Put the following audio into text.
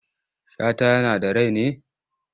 Shata yana da rai ne?